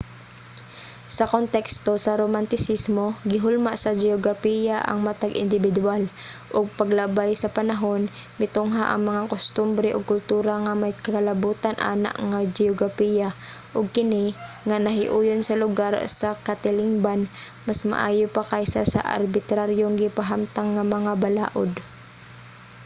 sa konteksto sa romantisismo gihulma sa geograpiya ang matag indibidwal ug paglabay sa panahon mitungha ang mga kustombre ug kultura nga may kalabutan ana nga geograpiya ug kini nga nahiuyon sa lugar sa katilingban mas maayo pa kaysa sa arbitraryong gipahamtang nga mga balaod